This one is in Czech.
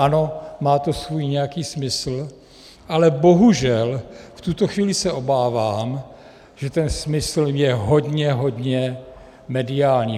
Ano, má to svůj nějaký smysl, ale bohužel v tuto chvíli se obávám, že ten smysl je hodně hodně mediální.